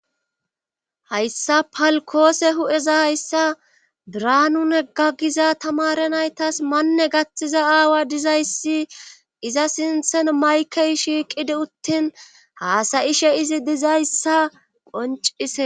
Hayssa palkoose hu'eza hayssa draanune ga giza tamare naytas manne gatthiza aawa dizayssi iza sinthen maykey shiiqidi uttin haasayishe izi dizayssa qoncise.